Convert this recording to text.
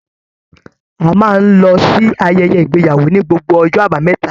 A máa n lọ sí ayẹyẹ ìgbéyàwó ní gbogbo ọjọ́ àbámẹ́ta.